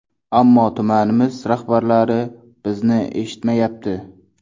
Ammo tumanimiz rahbarlari bizni eshitmayapti.